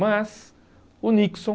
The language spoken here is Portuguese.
Mas o Nixon...